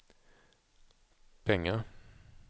pengar